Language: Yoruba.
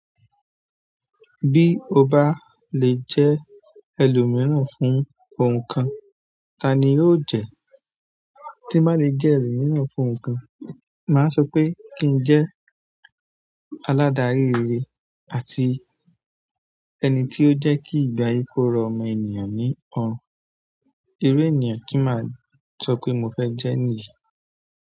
Bí o bá lè jẹ́ ẹlòmíràn fún nǹkan, ta ni o jẹ? Tí n bá lè jẹ́ ẹlòmíràn fún nǹkan, màá sọ pé kí n jẹ́ aládarí rere àti ẹni tí ó jẹ́ kí ìgbé ayé kó rọ ọmọ ènìyàn ní ọrùn. Iru ènìyàn ti maa sope mofe je niyen.